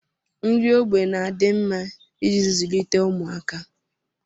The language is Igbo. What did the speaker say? Nri ógbè na-adị mma iji zụlite ụmụaka